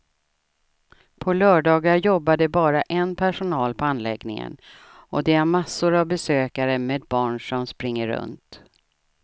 På lördagar jobbar det bara en personal på anläggningen och det är massor av besökare med barn som springer runt.